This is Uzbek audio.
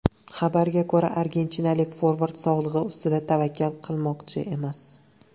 Xabarga ko‘ra, argentinalik forvard sog‘lig‘i ustida tavakkal qilmoqchi emas.